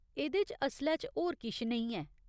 एह्दे च असलै च होर किश नेईं ऐ।